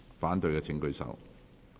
反對的請舉手。